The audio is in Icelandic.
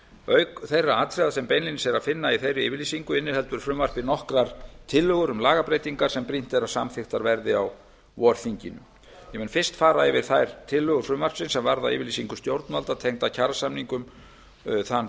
auk þeirra atriða sem beinlínis er að finna í þeirri yfirlýsingu inniheldur frumvarpið nokkrar tillögur um lagabreytingar sem brýnt er að samþykktar verði á vorþinginu ég mun fyrst fara yfir þær tillögur frumvarpsins sem varða yfirlýsingu stjórnvalda tengda kjarasamningum þann